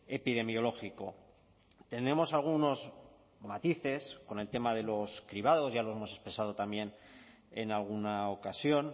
epidemiológico tenemos algunos matices con el tema de los cribados ya lo hemos expresado también en alguna ocasión